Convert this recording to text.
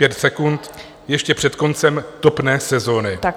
Pět sekund - ještě před koncem topné sezony.